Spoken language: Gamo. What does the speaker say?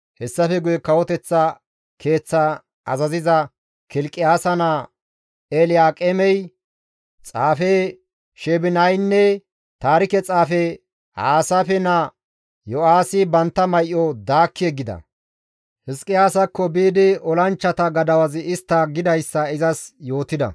Hessafe guye kawoteththa keeththa azaziza Kilqiyaasa naa Elyaaqeemey, xaafe Sheebinaynne taarike xaafe Aasaafe naa Yo7aahi bantta may7o daakki yeggida; Hizqiyaasakko biidi olanchchata gadawazi istti gidayssa izas yootida.